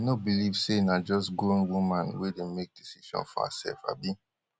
dem no believe say na just grown woman wey dey make decision for hersef abi